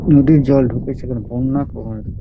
নদীর জল ঢুকেছে এখানে বন্যা প্রবণ |